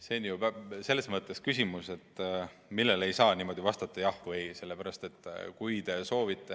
See on selline küsimus, millele ei saa lihtsalt jah või ei vastata.